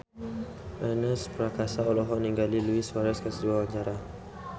Ernest Prakasa olohok ningali Luis Suarez keur diwawancara